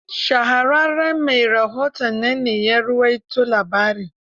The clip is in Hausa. Shahararren mai rahoton nan ne ya rawaito labarin.